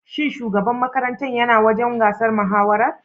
Shin shugaban makarantar ya na wajen gasar mahawarar?